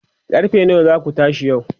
karfe nawa zaku tashi yau?